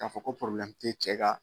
K'a fɔ ko cɛ ka